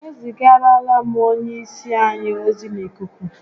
E zigarala m onye isi anyi ozi n'ikuku